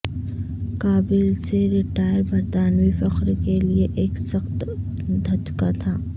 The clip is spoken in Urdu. کابل سے ریٹائر برطانوی فخر کے لئے ایک سخت دھچکا تھا